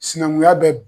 Sinankunya bɛ